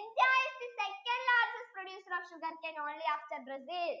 India is the second largest producer of sugarcane only after brazil